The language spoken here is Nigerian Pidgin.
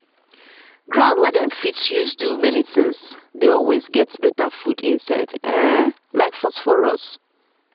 ground wey dem fit use do many things dey always get better food inside um like phosphorus